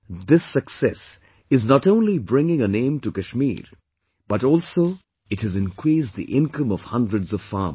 This success is not only bringing a name to Kashmir but also it has increased the income of hundreds of farmers